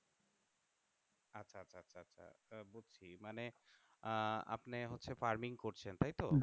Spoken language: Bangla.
মানে আহ আপনি হচ্ছে farming করছেন তাইতো?